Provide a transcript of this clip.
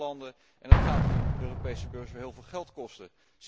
Het zijn arme landen en dat gaat de Europese burger heel veel geld kosten.